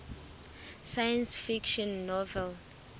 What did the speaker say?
science fiction novel